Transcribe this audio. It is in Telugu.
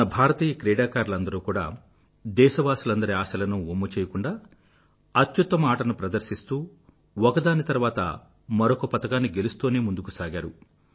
మన భారతీయ క్రీడాకారులందరూ కూడా దేశవాసులందరి ఆశలనూ వమ్ము చెయ్యకుండా అత్యుత్తమ ఆటను ప్రదర్శిస్తూ ఒకదాని తర్వాత మరొక పతకాన్ని గెలుస్తూనే ముందుకు సాగారు